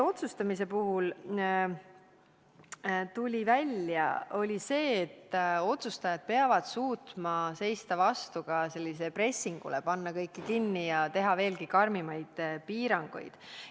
Otsustamise puhul tuli välja ka see, et otsustajad peavad suutma vastu seista pressingule panna kõik kinni ja kehtestada veelgi karmimaid piiranguid.